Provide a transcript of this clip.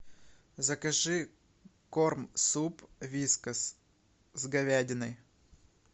закажи корм суп вискас с говядиной